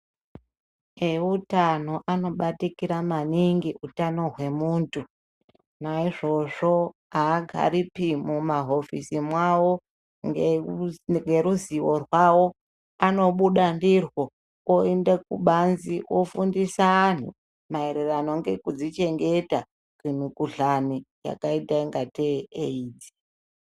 Eutano anobatikira maningi utano hwemuntu naizvozvo aagaripi mumahofisi mwavo ngeruzivo rwavo anobuda ndirwo oende kubanzi ofundisa antu maererano ngekudzichengeta kumukuhlani yakaita ngatei AIDS.